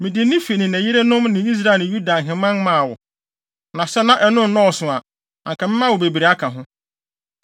Mede ne fi ne ne yerenom ne Israel ne Yuda ahemman maa wo. Na sɛ na ɛno nnɔɔso a, anka mɛma wo bebree aka ho.